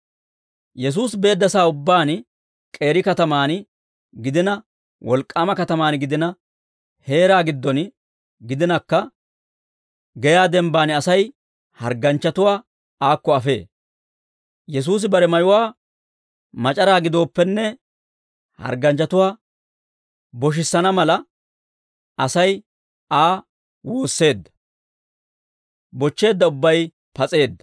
Yesuusi beedda sa'aa ubbaan k'eeri katamaan gidina, wolk'k'aama katamaan gidina, heeraa giddon gidinakka, geyaa denbbaan Asay hargganchchatuwaa aakko afee. Yesuusi bare mayuwaa mac'araa gidooppenne hargganchchatuwaa boshissana mala, Asay Aa woosseedda; bochcheedda ubbay pas'eedda.